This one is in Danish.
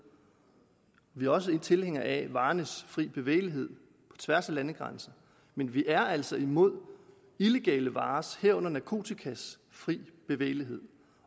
vi er også tilhængere af varernes fri bevægelighed på tværs af landegrænserne men vi er altså imod illegale varers herunder narkotikas fri bevægelighed